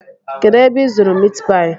Kedụ ebe ị zụrụ mitpaị?